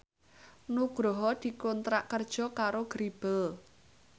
Nugroho dikontrak kerja karo Grebel